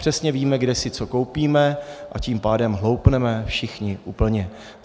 Přesně víme, kde si co koupíme, a tím pádem hloupneme všichni úplně.